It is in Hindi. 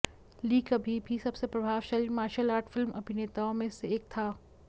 ली कभी भी सबसे प्रभावशाली मार्शल आर्ट फिल्म अभिनेताओं में से एक था